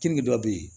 Kenige dɔw bɛ yen